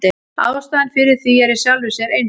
Ástæðan fyrir því er í sjálfu sér einföld.